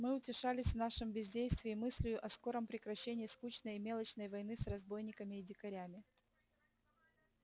мы утешались в нашем бездействии мыслию о скором прекращении скучной и мелочной войны с разбойниками и дикарями